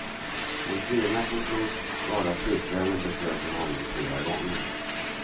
En kvinna som tros vara flickvännen besöker honom flera gånger.